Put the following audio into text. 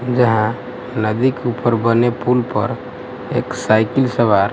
जहां नदी के ऊपर बने पुल पर एक साइकिल सवार--